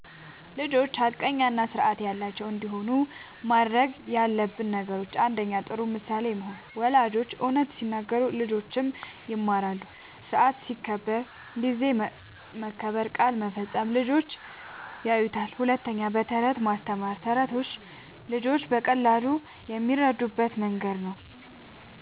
ልጆች ሐቀኛ እና ስርዓት ያላቸው እንዲሆኑ ማድረግ ያለብን ነገሮችን፦ ፩. ጥሩ ምሳሌ መሆን፦ ወላጆች እውነት ሲናገሩ ልጆችም ይማራሉ። ስርዓት ሲከበር (ጊዜ መከበር፣ ቃል መፈጸም) ልጆች ያዩታል። ፪. በተረቶች ማስተማር፦ ተረቶች ልጆች በቀላሉ የሚረዱበት መንገድ ነዉ።